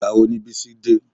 Ìgbà wo ni Bísí dé?